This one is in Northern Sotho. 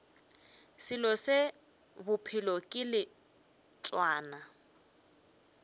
selo se bophelo ke leotwana